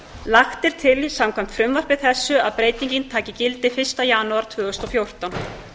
lagt er til samkvæmt frumvarpi þessu að breytingin taki gildi fyrsta janúar tvö þúsund og fjórtán